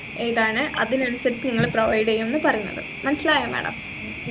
ഏതാണ് അതിനനുസരിച് ഞങ്ങൾ provide ചെയ്യുംന്നു പറയുന്നത് മനസിലായോ madam